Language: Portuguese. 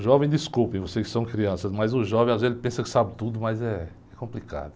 O jovem, desculpe, vocês que são crianças, mas o jovem às vezes pensa que sabe tudo, mas é, é complicado.